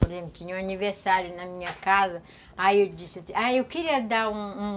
Por exemplo, tinha um aniversário na minha casa, aí eu disse assim, ah, eu queria dar um um